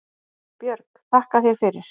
Björg: Þakka þér fyrir